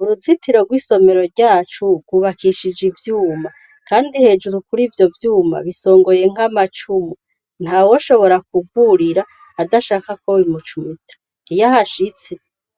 Uruzitiro rw'isomero ryacu rwubakishije ivyuma, kandi hejuru kurivyo vyuma bisongoye nk'amacumu, ntawoshobora kurwurira adashaka ko bimucumita, iy'ahashitse